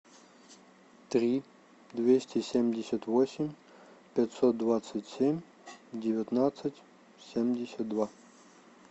три двести семьдесят восемь пятьсот двадцать семь девятнадцать семьдесят два